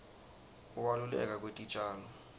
kubaluleka kwetitjalo